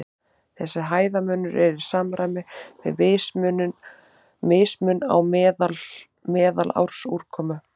Þessi hæðarmunur er í samræmi við mismun á meðalársúrkomu.